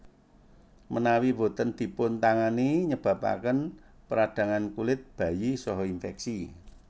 Menawi boten dipun tangani nyebabaken peradangan kulit bayi saha infeksi